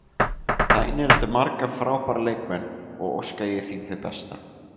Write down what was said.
Það inniheldur marga frábæra leikmenn og óska ég þeim því besta.